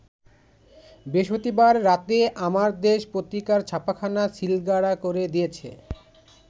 বৃহস্পতিবার রাতে আমার দেশ পত্রিকার ছাপাখানা সিলগালা করে দিয়েছে।